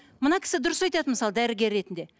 мына кісі дұрыс айтады мысалы дәрігер ретінде